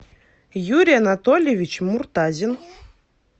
юрий анатольевич муртазин